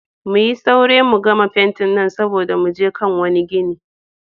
Muyi saure mu gama fentin nan saboda mu je kan wane gine.